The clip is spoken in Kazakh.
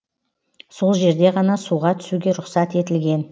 сол жерде ғана суға түсуге рұқсат етілген